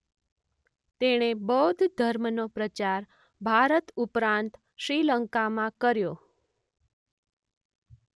તેણે બૌદ્ધ ધર્મનો પ્રચાર ભારત ઉપરાંત શ્રીલંકામાં કર્યો